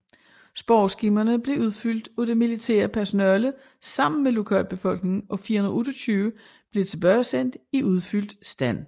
Spørgeskemaerne blev udfyldt af det militære personale sammen med lokalbefolkningen og 428 blev tilbagesendt i udfyldt stand